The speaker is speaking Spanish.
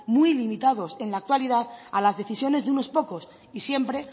muy limitados en la actualidad a las decisiones de unos pocos y siempre